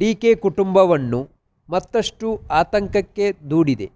DK ಕುಟುಂಬವನ್ನು ಮತ್ತಷ್ಟು ಆತಂಕಕ್ಕೆ ದೂಡಿದೆ